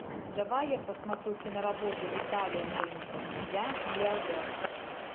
давай я посмотрю киноработу виталия мельникова я миллиардер